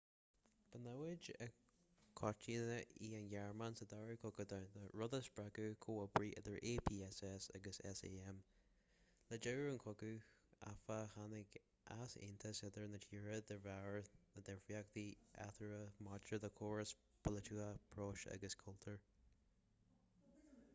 ba namhaid i gcoitinne í an ghearmáin sa dara cogadh domhanda rud a spreag comhoibriú idir apss agus sam le deireadh an chogaidh áfach tháinig easaontas idir na tíortha de bharr na ndifríochtaí eatarthu maidir le córas polaitíochta próiseas agus cultúr